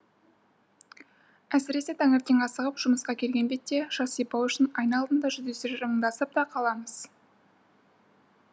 әсіресе таңертең асығып жұмысқа келген бетте шаш сипау үшін айна алдында жүздесіп жымыңдасып та қаламыз